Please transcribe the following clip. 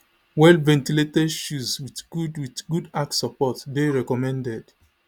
well ventilated shoes with good with good arch support dey recommended